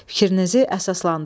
Fikrinizi əsaslandırın.